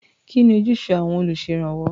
Kí ni ojúṣe àwọn olùṣèrànwọ́?